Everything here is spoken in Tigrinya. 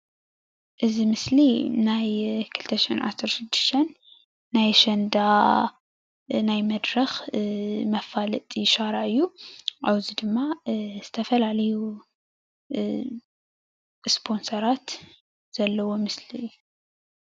እዚ ምስሊ ናይ 2016 ናይ ኣሸንዳ ናይ መድረክ መፋለጢ ሻራ እዩ ኣብዚ ድማ ዝተፈላለዩ ስፖንሰራት ዘለዎ ምስሊ እዩ።